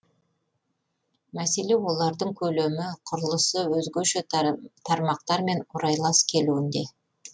мәселе олардың көлемі құрылысы өзгеше тармақтармен орайлас келуінде